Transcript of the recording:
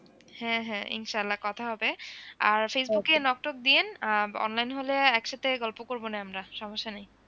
হ্যাঁ হ্যাঁ ইনশাআল্লাহ কথা হবে আর facebook এ knock tock দিয়েন আহ online হলে একসাথে গল্প করবোনে আমরা সমস্যা নেই।